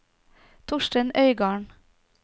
Torstein Øygarden